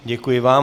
Děkuji vám.